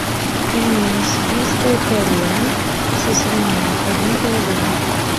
пельмени сибирская корона со свининой один килограмм